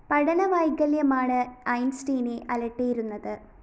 പഠന വൈകല്യമാണ് ഐന്‍സ്റ്റീനെ അലട്ടിയിരുന്നത്